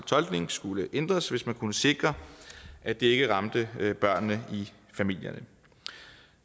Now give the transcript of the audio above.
tolkning skulle ændres hvis man kunne sikre at det ikke ramte børnene i familierne